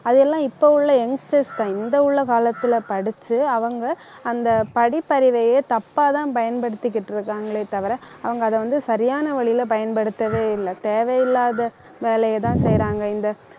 அது எல்லாம் இப்ப உள்ள youngsters தான் இந்த உள்ள காலத்துல படிச்சு அவங்க அந்த படிப்பறிவையே தப்பாதான் பயன்படுத்திக்கிட்டு இருக்காங்களே தவிர அவங்க அதை வந்து, சரியான வழியில பயன்படுத்தவே இல்லை தேவையில்லாத வேலையைதான் செய்யறாங்க இந்த